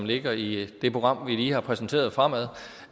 ligger i det program vi lige har præsenteret fremad